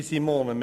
Liebe Simone –